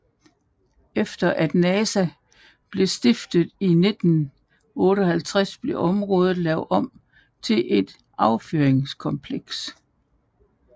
Efter at NASA blev stiftet i 1958 blev området lavet om til et affyringskompleks